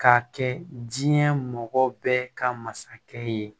K'a kɛ diɲɛ mɔgɔ bɛɛ ka masakɛ ye